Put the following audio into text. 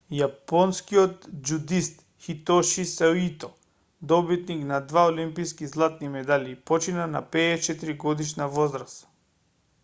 јапонскиот џудист хитоши саито добитник на два олимписки златни медали почина на 54-годишна возраст